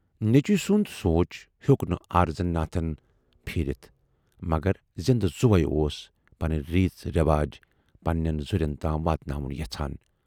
نیچوٗ سُند سونچ ہیوک نہٕ اَرزن ناتھن پھیٖرِتھ، مگر زِندٕ زُوے اوس پنٕنۍ ریٖژ رٮ۪واج پنہٕ نٮ۪ن ذُرٮ۪ن تام واتناوُن یَژھان۔